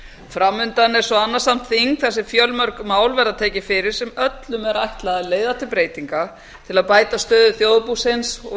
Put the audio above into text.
fram undan er svo annasamt þing þar sem fjölmörg mál verða tekin fyrir sem öllum er ætlað að leiða til breytinga til að bæta stöðu þjóðarbúsins og